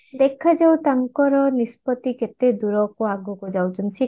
ଦେଖାଯାଉ ତାଙ୍କର ନିସ୍ପତି କେତେ ଦୂରକୁ ଆଗକୁ ଯାଉଛନ୍ତି